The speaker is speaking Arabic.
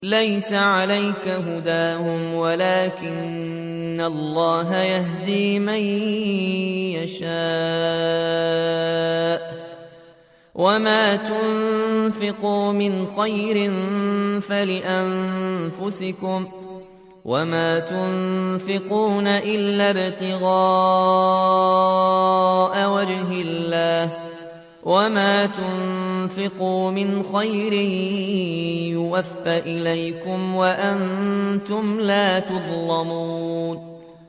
۞ لَّيْسَ عَلَيْكَ هُدَاهُمْ وَلَٰكِنَّ اللَّهَ يَهْدِي مَن يَشَاءُ ۗ وَمَا تُنفِقُوا مِنْ خَيْرٍ فَلِأَنفُسِكُمْ ۚ وَمَا تُنفِقُونَ إِلَّا ابْتِغَاءَ وَجْهِ اللَّهِ ۚ وَمَا تُنفِقُوا مِنْ خَيْرٍ يُوَفَّ إِلَيْكُمْ وَأَنتُمْ لَا تُظْلَمُونَ